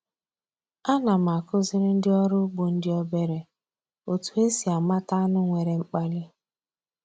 A na m akụziri ndị ọrụ ugbo ndị obere otu esi amata anụ nwere mkpali